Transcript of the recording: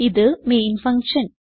ഇത് main function